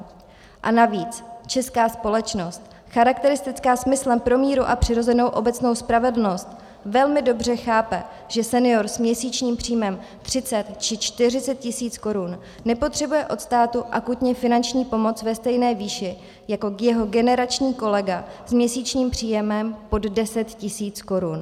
A navíc, česká společnost, charakteristická smyslem pro míru a přirozenou obecnou spravedlnost, velmi dobře chápe, že senior s měsíčním příjmem 30 či 40 tisíc korun nepotřebuje od státu akutně finanční pomoc ve stejné výši jako jeho generační kolega s měsíčním příjmem pod 10 tisíc korun.